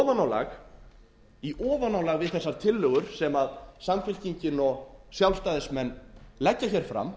verðbólguna í ofanálag við þessar tillögur sem samfylkingin og sjálfstæðismenn leggja hér fram